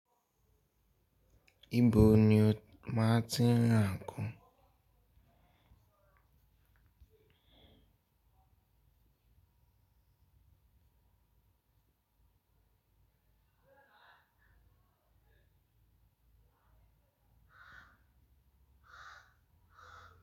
Ibo ni o máa ti ń rà nǹkan?